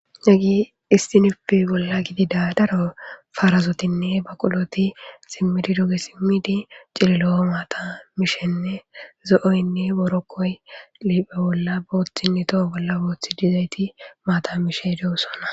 Hagey istinufe bolla gidida daro faarazotinne baquloti simmidi doge simmidi cililo7o maata mishenne zo7oynne borokkoy liiphe bolla booththinne toho bolla booththi dizayti maata mishe de'osona